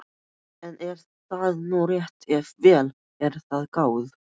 En er það nú rétt ef vel er að gáð?